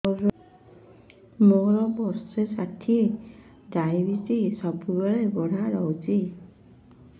ମୋର ବର୍ଷ ଷାଠିଏ ଡାଏବେଟିସ ସବୁବେଳ ବଢ଼ା ରହୁଛି